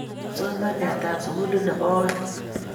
kipsomananiatab sukulit ne bo oeng